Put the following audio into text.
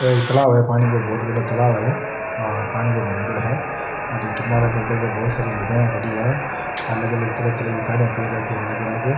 ओ एक तालाब है पांणी को बहुत बड़ो तालाब है और पानी को भरियोडो है और इके किनारा पर देखो बहुत सारी लुगाइयाँ खड़ी है अलग-अलग तरह-तरह की साड़ियां पहन रखी है अलग-अलग।